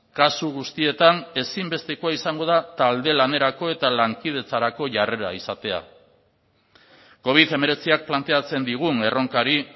kasu guztietan ezinbestekoa izango da talde lanerako eta lankidetzarako jarrera izatea covid hemeretziak planteatzen digun erronkari